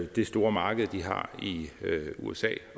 det store marked de har i usa